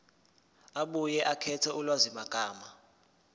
abuye akhethe ulwazimagama